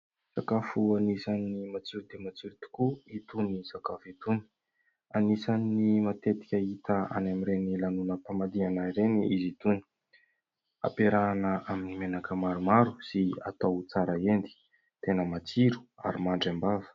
Sakafo anisan'ny matsiro dia matsiro tokoa itony sakafo itony. Anisan'ny matetika hita any amin'iren'ny lanonam-pamadihana ireny izy itony, ampiarahana amin'ny menaka maromaro sy atao tsara endy ; tena matsiro ary mandry am-bava.